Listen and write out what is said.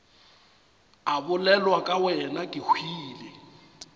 a bolelwa ke wena kehwile